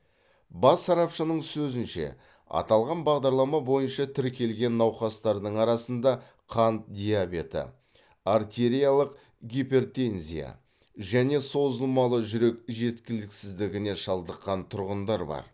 бас сарапшының сөзінше аталған бағдарлама бойынша тіркелген науқастардың арасында қант диабеті артериялық гипертензия және созылмалы жүрек жеткіліксіздігіне шалдыққан тұрғындар бар